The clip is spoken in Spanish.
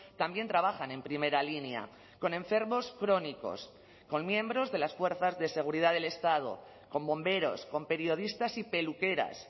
también trabajan en primera línea con enfermos crónicos con miembros de las fuerzas de seguridad del estado con bomberos con periodistas y peluqueras